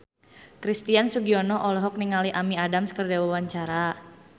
Christian Sugiono olohok ningali Amy Adams keur diwawancara